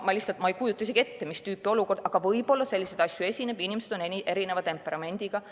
Ma ei kujuta isegi ette, mis tüüpi olukord see võiks olla, aga võib-olla selliseid asju esineb, inimesed on erineva temperamendiga.